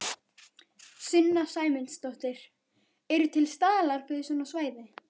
Sunna Sæmundsdóttir: Eru til staðlar fyrir svona svæði?